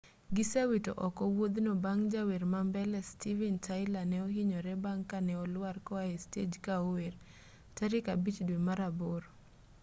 gisewito oko wuothno bang' jawer ma mbele steven tyler ne ohinyore bang' kane oluar ka oae stej ka ower tarik abich due mar aboro